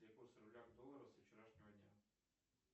курс рубля к доллару со вчерашнего дня